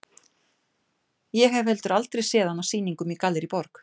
Ég hef heldur aldrei séð hann á sýningum í Gallerí Borg.